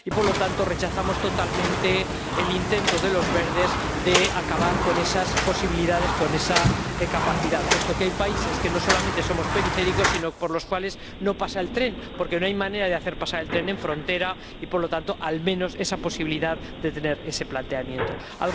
Y, por lo tanto, rechazamos totalmente el intento de los Verdes de acabar con esas posibilidades, con esa capacidad, puesto que hay países que no solamente son periféricos, sino por los cuales no pasa el tren porque no hay manera de hacer pasar el tren por la frontera y, por lo tanto, al menos, es necesario que ese planteamiento sea posible.